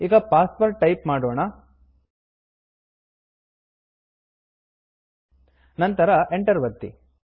ಈಗ password type ಮಾಡೋಣ ನಂತರ Enter ಎಂಟರ್ ಒತ್ತಿ